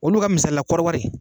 Olu ka misali la kɔɔri wari